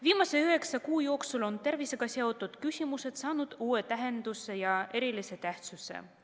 Viimase üheksa kuu jooksul on tervisega seotud küsimused saanud uue tähenduse ja erilise tähtsuse.